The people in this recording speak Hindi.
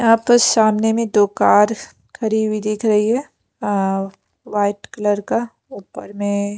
यहां पर सामने में दो कार खरी हुई दिख रही है व्हाइट कलर का ऊपर में--